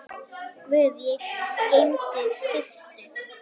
Guð geymi Systu.